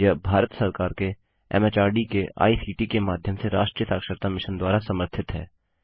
यह भारत सरकार के एमएचआरडी के आईसीटी के माध्यम से राष्ट्रीय साक्षरता मिशन द्वारा समर्थित है